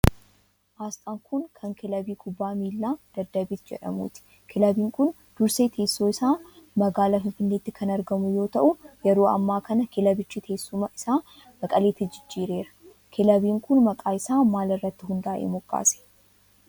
Asxaan kun, kan kilabii kubbaa miilaa Daddabiit jedhamuuti. Kilabiin kun dursee teessoon isaa magaalaa Finfinneetti kan argamu yoo ta'u, yeroo ammaa kana kilabichi teessuma isaa gara Maqaleetti jijjiireera. Kilabiin kun, maqaa isaa maal irratti hundaa'ee moggaase?